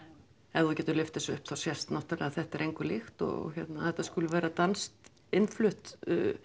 ef þú getur lyft þessu upp þá sést náttúrulega að þetta er engu líkt og að þetta sé danskt innflutt